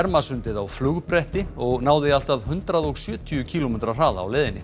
Ermarsundið á og náði allt að hundrað og sjötíu kílómetra hraða á leiðinni